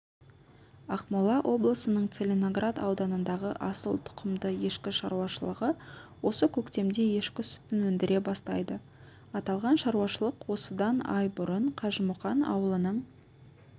ақмола облысының целиноград ауданындағы асыл тұқымды ешкі шаруашылығы осы көктемде ешкі сүтін өндіре бастайды аталған шаруашылық осыдан ай бұрын қажымұқан ауылының